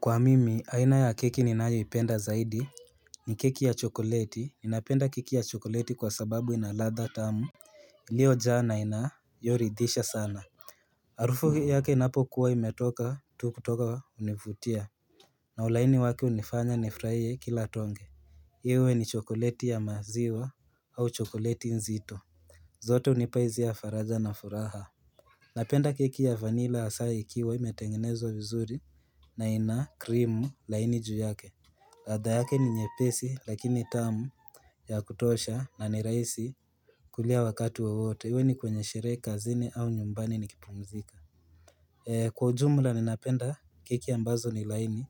Kwa mimi aina ya keki ninayoipenda zaidi ni keki ya chokoleti ninapenda keki ya chokoleti kwa sababu ina ladha tamu. Hio jana inayoridisha sana. Harufu yake inapo kuwa imetoka tu kutoka hunifutia. Na ulaini waki hunifanya nifurahie kila tonge. Iwe ni chokoleti ya maziwa. Au chokoleti nzito. Zote unipa hisia ya faraja na furaha. Napenda keki ya vanila hasa ikiwa imetengenezwa vizuri. Na ina krimu laini juu yake. Radha yake ni nyepesi lakini tamu ya kutosha na ni rahisi kuliwa wakati wowote iwe ni kwenye sherehe, kazini, au nyumbani nikipumzika. Kwa ujumla ninapenda keki ambazo ni laini.